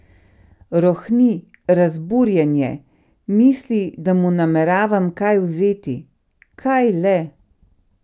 Rohni, razburjen je, misli, da mu nameravam kaj vzeti, kaj le?